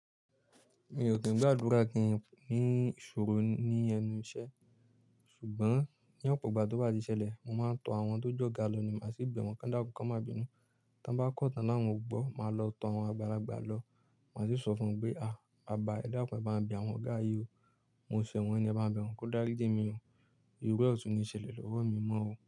Mi ò sì ń gba àdúrà kí ni isọ̀rọ̀ ní ẹnu iṣẹ́. Ṣùgbọ́n ní ọ̀pọ̀ ìgbà tó bá ti ṣẹlẹ̀, mo máa ń tọ àwọn tó jọ̀ga lọ ní màá sì bẹ̀ wọ́n kọ́n dákun kọ́n má bínu. Tán bá kọ́ tàn náwọn ò gbọ́, màá lọ tọ àwọn àgbàlagbà lọ, màá sì sọ fún wọn pé "à! Bàbá, ẹ̀ dákùn ẹ bá n bẹ̀ àwọn ọ̀gá yí o. Mo ṣẹ̀ wọ́n ni ẹ bá n bi wọn ko dá lé jẹ mí o. Ìrú ẹ̀ ò tún ní ṣẹ̀lẹ̀ lọ́wọ́ mi mọ́ o.